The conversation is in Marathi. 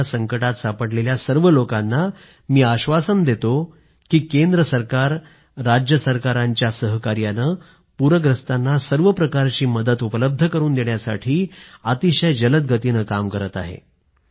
पूराच्या संकटात सापडलेल्या सर्व लोकांना मी आश्वासन देतो की केंद्र राज्य सरकारांच्या सहकार्यानं पूरग्रस्तांना हर प्रकारची मदत उपलब्ध करून देण्यासाठी अतिशय जलद गतीनं काम करत आहे